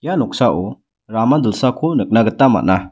ia noksao rama dilsako nikna gita man·a.